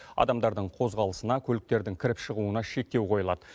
адамдардың қозғалысына көліктердің кіріп шығуына шектеу қойылады